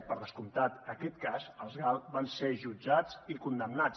per descomptat aquest cas els gal va ser jutjat i condemnat